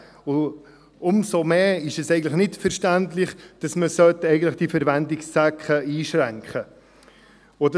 Umso mehr ist es eigentlich nicht verständlich, dass man diese Verwendungszwecke einschränken sollte.